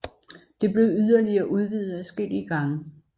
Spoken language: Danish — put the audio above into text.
Det blev yderligere udvidet adskillige gange